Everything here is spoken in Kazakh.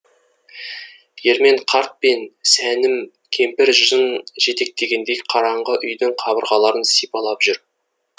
ермен қарт пен сәнім кемпір жын жетектегендей қараңғы үйдің қабырғаларын сипалап жүр